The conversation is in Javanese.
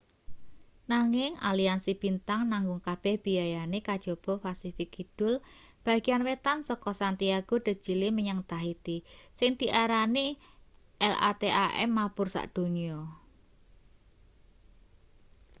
nanging aliansi bintang nanggung kabeh biayane kajaba pasifik kidul bageyan wetan saka santiago de chili menyang tahiti sing diarani latam mabur sakdonya